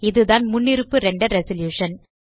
இதுதான் முன்னிருப்பு render resolution